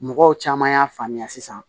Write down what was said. Mɔgɔw caman y'a faamuya sisan